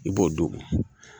I b'o don